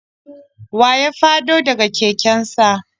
Wa ya fado da ga keken sa?